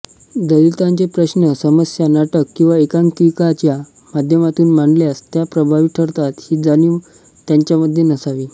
दलितांचे प्रश्न समस्या नाटक किंवा एकांकिकांच्या माध्यमातून मांडल्यास त्या प्रभावी ठरतात ही जाणीव त्यांच्यामध्ये नसावी